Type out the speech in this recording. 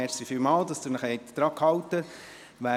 Vielen Dank, dass Sie sich daran gehalten haben.